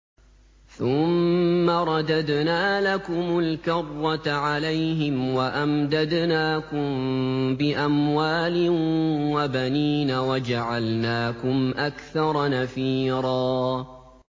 ثُمَّ رَدَدْنَا لَكُمُ الْكَرَّةَ عَلَيْهِمْ وَأَمْدَدْنَاكُم بِأَمْوَالٍ وَبَنِينَ وَجَعَلْنَاكُمْ أَكْثَرَ نَفِيرًا